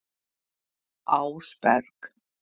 Ásberg